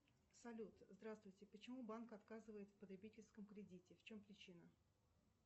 салют здравствуйте почему банк отказывает в потребительском кредите в чем причина